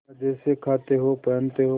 मजे से खाते हो पहनते हो